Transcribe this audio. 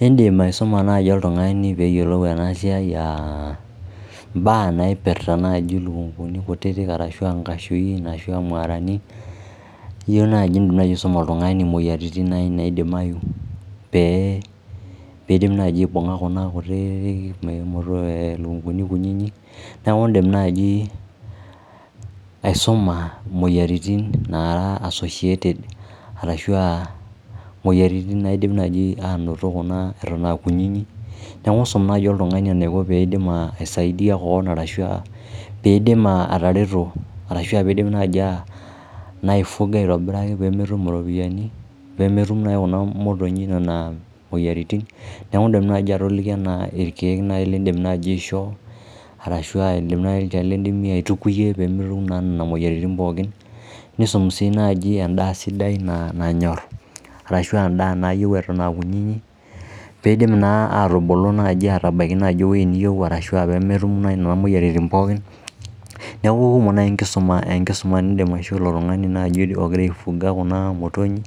Indim aisuma naai oltungani peeyiplou ena siai aa mbaa naipirta ilukunguni kutitik arashu inkashui arashu aa maarani iyieu naai nisome oltungani imuoyiaritin naai naidimayu pee idim naai aibunga kuna kutitik niaku iindim naji aisuma imuoyiaritin naara associated with arashu aa moyiaritin naidim naaji anoto kuna eton aa kunyinyi niaku iisum naai oltungani eniko tenidim aisaidia koon ashu aa piidim atareto arashi aa ore piidip naaji aa naa aifuga aitobiraki pee metum oropiani pee metum naai kuna motonyi nena moyiaritin niaku indim naji atoliki enaa ilkiek nai liidim aishoo arashu olchani liidim aitukuyie peemetum naa nena moyiaritin pooki nisumi sii naaji endaa sidai nanyor ashu endaa nayieu eton aa kunyinyi piidim naa naaji atubulu aatabaiki ewueji niyieu arashu peetum nai imuoyiaritin pookin niaku kumok nai enkisuma niidim aishoo ilo tungani ogira aifuga kuna motonyi